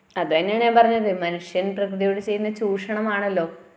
അതെന്നയാണ് ഞാൻ പറഞ്ഞത് മനുഷ്യൻപ്രകൃതിയോട് ചെയ്യുന്ന ചൂഷണമാണല്ലോ